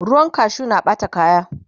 ruwan kashu na Ɓata kaya